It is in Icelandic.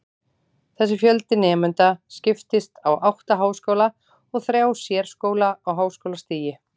Þessi fjöldi nemenda skiptist á átta háskóla og þrjá sérskóla á háskólastigi.